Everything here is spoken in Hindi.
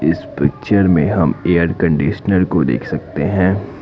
इस पिक्चर में हम एयर कंडीशनर को देख सकते हैं।